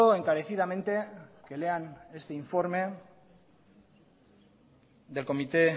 encarecidamente que lean este informe del comité